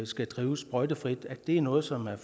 skal drives sprøjtefrit er noget som er